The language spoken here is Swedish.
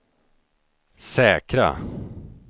säkra